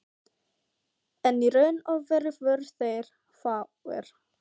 En í raun og veru voru þeir fáir.